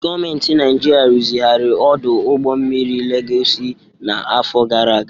Gọọmentị Naịjirịa rụzigharịrị ọdụ ụgbọ mmiri Legọsi n'afọ gara aga.